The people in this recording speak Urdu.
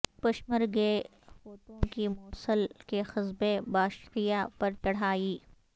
پشمرگے قوتوں کی موصل کے قصبے باشیقہ پر چڑھائی